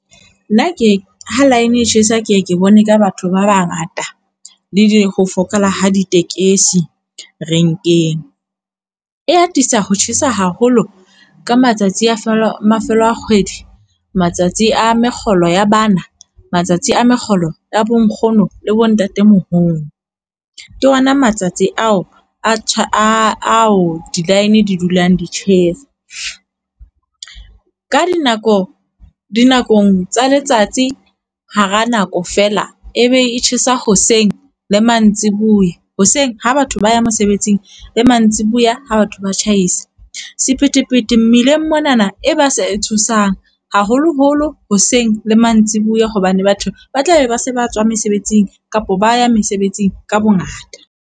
Nna ha line e tjhesa ke ye ke bone ka batho ba bangata le ho fokola ha ditekesi renkeng. E atisa ho tjhesa haholo ka matsatsi a mafelo a kgwedi, matsatsi a mekgolo ya bana, matsatsi a mekgolo ya bonkgono le bontatemoholo, ke ona matsatsi ao di-line di dulang di tjhesa. Ka dinako, dinakong tsa letsatsi hara nako fela e be e tjhesa hoseng le mantsiboya, hoseng ha batho ba ya mosebetsing le mantsibuya ha batho ba tjhaisa. Sephetephete mmileng monana e ba sa e tshosang, haholoholo hoseng le mantsiboya hobane batho ba tlabe ba se ba tswa mesebetsing kapa ba ya mesebetsing ka bongata.